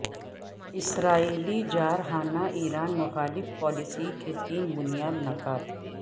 اسرائیلی جارحانہ ایران مخالف پالیسی کے تین بنیادی نکات